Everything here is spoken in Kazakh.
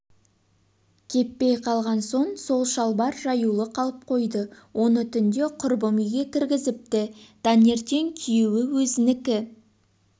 кеппей қалған соң сол шалбар жаюлы қалып қойды оны түнде құрбым үйге кіргізіпті таңертеңкүйеуі өзінікі